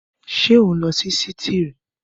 Ṣé o ń lọ sí sítììrì?